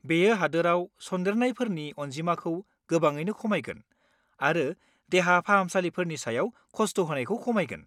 बेयो हादोराव सन्देरनायफोरनि अनजिमाखौ गोबाङैनो खमायगोन आरो देहा फाहामसालिफोरनि सायाव खस्ट होनायखौ खमायहोगोन।